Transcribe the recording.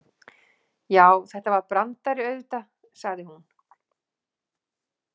Já, þetta var brandari auðvitað, sagði hún.